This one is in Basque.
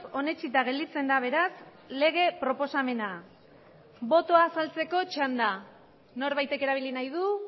onetsita gelditzen da beraz lege proposamena botoa azaltzeko txanda norbaitek erabili nahi du